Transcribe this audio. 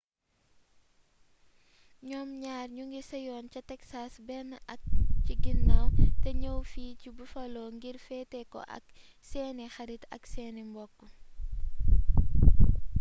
ñoom ñaar ñoo ngi seyoon ca texas benn at ci ginnaaw te ñëw fii ci buffalo ngir feete ko ak seeni xarit ak seeni mbokk